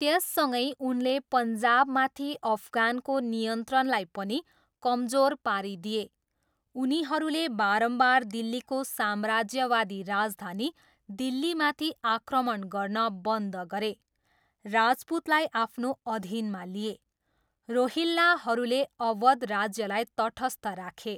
त्यससँगै उनले पन्जाबमाथि अफगानको नियन्त्रणलाई पनि कमजोर पारिदिए। उनीहरूले बारम्बार दिल्लीको साम्राज्यवादी राजधानी दिल्लीमाथि आक्रमण गर्न बन्द गरे। राजपूतलाई आफ्नो अधीनमा लिए। रोहिल्लाहरूले अवध राज्यलाई तटस्थ राखे।